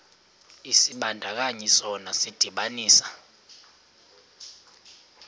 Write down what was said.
isibandakanyi sona sidibanisa